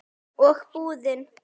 Og búið.